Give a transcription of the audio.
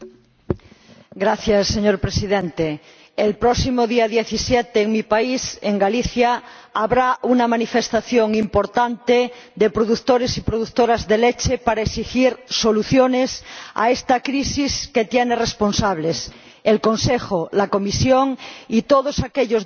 Señor Presidente, el próximo día 17 en mi país, en Galicia, habrá una manifestación importante de productores y productoras de leche para exigir soluciones a esta crisis, que tiene responsables el Consejo, la Comisión y todos aquellos diputados y diputadas